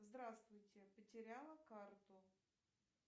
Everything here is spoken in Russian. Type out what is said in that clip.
здравствуйте потеряла карту